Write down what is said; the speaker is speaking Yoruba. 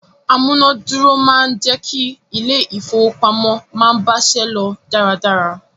Amúná-dúró máa ń jẹ́ kí ilé-ìfowópamọ́sí máa báṣẹ́ lọ dáradára.